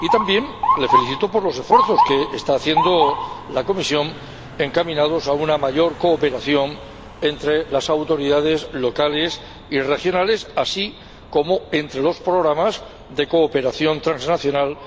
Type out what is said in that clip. y también le felicito por los esfuerzos que está haciendo la Comisión encaminados a una mayor cooperación entre las autoridades locales y regionales, así como entre los programas de cooperación transnacional,